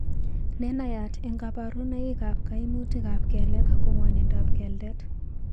Nenaiyat eng' kaborunoik ab kaimutik ab keleek ko ngwonindab keldet